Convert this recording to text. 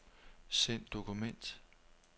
Send dokument.